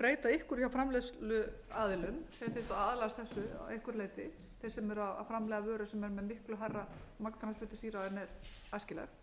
breyta einhverju hjá framleiðsluaðilum þeir þyrftu að aðlagast þessu að einhverju leyti þeir sem eru að framleiða vöru sem er með miklu hærra magn transfitusýra en er æskilegt